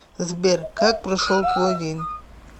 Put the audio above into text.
сбер как прошел твой день